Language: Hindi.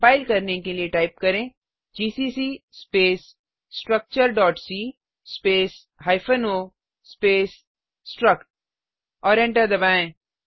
कंपाइल करने के लिए टाइप करें GCC space structure c space hyphen o space struct और एंटर दबाएँ